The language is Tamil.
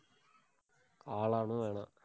காளானும் வேணாம்.